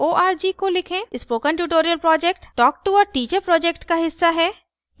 spoken tutorial talktoa teacher project का हिस्सा है